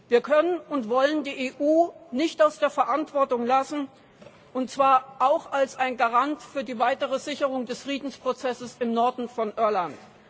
Wir können und wollen die EU nicht aus der Verantwortung lassen, und zwar auch als ein Garant für die weitere Sicherung des Friedensprozesses im Norden von Irland.